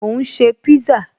Mò ń ṣe pízá